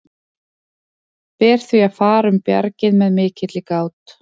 Ber því að fara um bjargið með mikilli gát.